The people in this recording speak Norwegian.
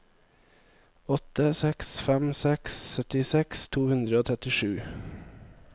åtte seks fem seks syttiseks to hundre og trettisju